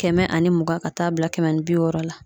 Kɛmɛ ani mugan ka taa bila kɛmɛ ni bi wɔɔrɔ la.